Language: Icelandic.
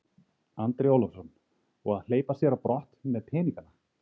Andri Ólafsson: Og að hleypa sér á brott með peningana?